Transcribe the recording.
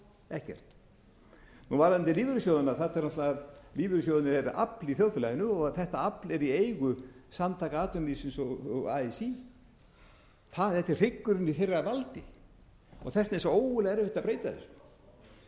ekkert varðandi lífeyrissjóðina lífeyrissjóðirnir eru afl í þjóðfélaginu og þetta afl er í eigu samtaka atvinnulífsins og así þetta er hryggurinn í þeirra valdi og þess vegna er svo ógurlega erfitt